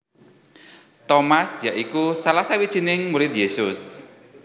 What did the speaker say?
Tomas ya iku salah sawijining murid Yesus